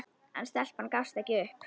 En stelpan gafst ekki upp.